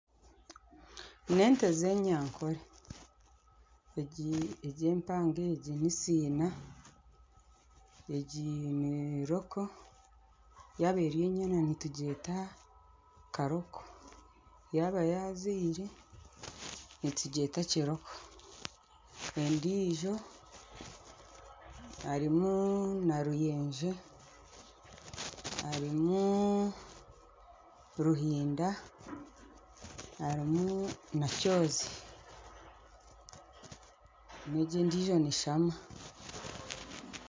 Ni ente z'enyankore. Egi empango egi ni siina, egi ni kiroko, yaaba eri enyena nitugyeta karoko, yaaba yaazaire nitugyeta kiroko. Endiijo harimu na ruyenje harimu ruhinda harimu na kyozi n'egi endiijo ni nshama.